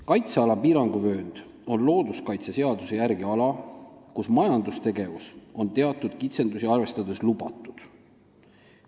Kaitseala piiranguvöönd on looduskaitseseaduse järgi ala, kus majandustegevus on teatud kitsendusi arvestades lubatud.